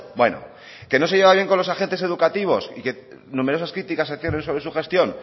bueno que no se lleva bien con los agentes educativos y que numerosas críticas se ciernen sobre su gestión